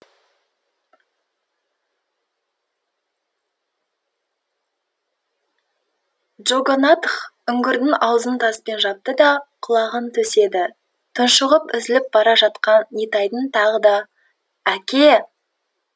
джогонатх үңгірдің аузын таспен жапты да құлағын төседі тұншығып үзіліп бара жатқан нитайдың тағы да әке